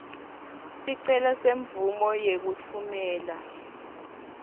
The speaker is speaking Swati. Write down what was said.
sicelo semvumo yekutfumela